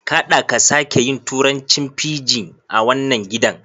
Kaɗa ka sake yin turancin fijin a wannan gidan